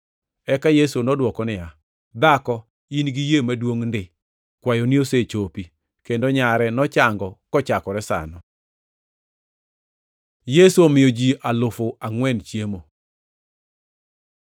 Eka Yesu nodwoko niya, “Dhako, in gi yie maduongʼ ndi! Kwayoni osechopi.” Kendo nyare nochango kochakore sano. Yesu omiyo ji alufu angʼwen chiemo